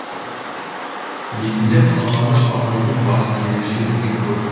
есімде қалғаны абайдың басы ерекше үлкен көрін